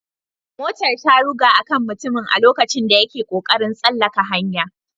Motar ta ruga a kan mutumin a lokacin da yake kokarin tsallaka hanya